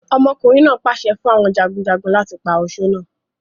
Ọmọkùnrin náà pàṣẹ fún àwọn jagunjagun, láti pa osó náà.